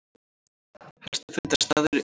Helstu fundarstaðir eru í